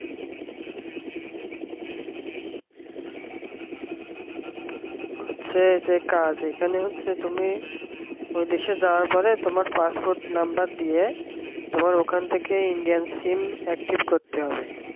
আছে যেটা এখানে হচ্ছে যে তুমি ও দেশে যাওয়ার পরে তোমার passport number দিয়ে তোমার ওখান থেকে indian sim active করতে হবে।